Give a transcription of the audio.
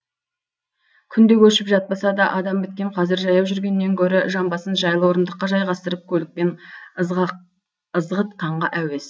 күнде көшіп жатпаса да адам біткен қазір жаяу жүргеннен гөрі жамбасын жайлы орындыққа жайғастырып көлікпен ызғытқанға әуес